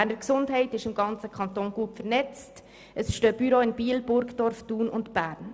Die Beges ist im ganzen Kanton Bern gut vernetzt, es befinden sich Büros in Burgdorf, Biel und Bern.